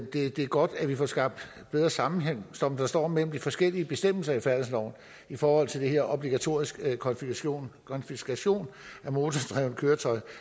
det er godt at vi får skabt bedre sammenhæng som der står mellem de forskellige bestemmelser i færdselsloven i forhold til den her obligatoriske konfiskation konfiskation af motordrevne køretøjer